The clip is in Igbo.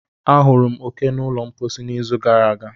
Ahụrụ m oke n'ụlọ mposi n'izu gara aga.